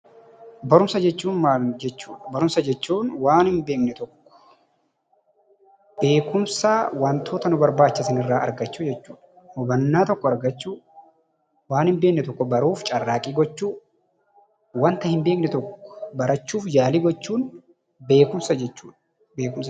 Barumsa jechuun maal jechuudha? Barumsa jechuun namni tokko beekumsa wantoota nu barbaachisan irraa argachuu jechuudha. Hubannaa tokko argachuu, waan hin beekne tokko baruuf carraaqqii gochuu, waanta hin beekne tokko barachuuf yaalii gochuun beekumsa jechuudha.